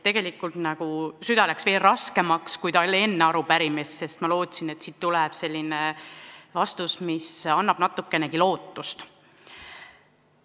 Tegelikult süda läks veel raskemaks, kui oli enne arupärimist, sest ma lootsin, et siit tuleb selline vastus, mis annab natukenegi lootust.